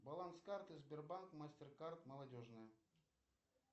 баланс карты сбербанк мастеркард молодежная